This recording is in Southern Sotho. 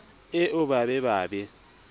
eo ba be ba be